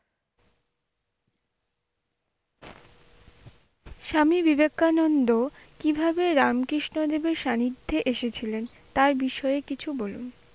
স্বামী বিবেকানন্দ কিভাবে রামকৃষ্ণ দেবের সানিধ্যে এসেছিলেন তার বিষয়ে কিছু বলুন?